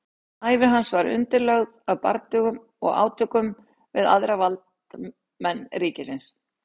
ævi hans var undirlögð af bardögum og átökum við aðra valdamenn ríkisins